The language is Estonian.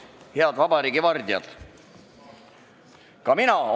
Head vabariigi vardjad!